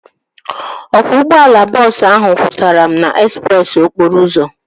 Ọkwọ ụgbọala bọọsu ahu kwụsara m n'ezpreesi okporo ụzọ